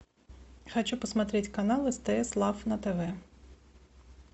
хочу посмотреть канал стс лав на тв